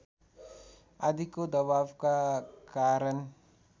आदिको दबावका कारण